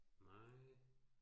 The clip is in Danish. Nej